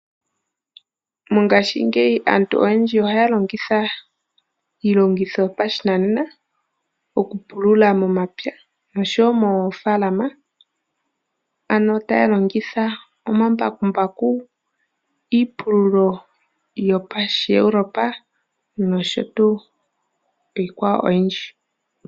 Mongashi ngeyi aantu oyendji oha longitha iilongitho yopashinanena oku pulula momapya nosho wo mofalama, ano talongitha omambakumbaku iipululo yopa shi Europe nosho tu iikwawo oyindji.